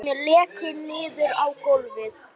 Hún lekur niður á gólfið.